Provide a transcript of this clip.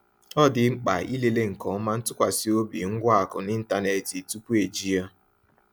Ọ dị mkpa ịlele nke ọma ntụkwasị obi ngwa akụ n’ịntanetị tupu eji ya.